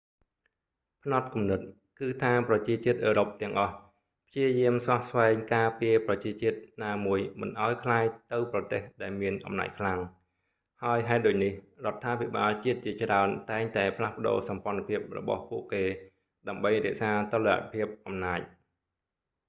ផ្នត់គំនិត គឺថាប្រជាជាតិអឺរ៉ុបទាំងអស់ព្យាយាមស្វះស្វែងការពារប្រជាជាតិណាមួយមិនឱ្យក្លាយទៅប្រទេសដែលមានអំណាចខ្លាំង ហើយហេតុដូចនេះរដ្ឋាភិបាលជាតិជាច្រើនតែងតែផ្លាស់ប្ដូរសម្ព័ន្ធភាពរបស់ពួកគេដើម្បីរក្សាតុល្យភាពអំណាច